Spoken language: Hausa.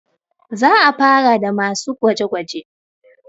za a fara da masu gwaje -gwaje